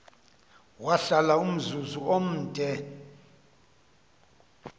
wahlala umzuzu omde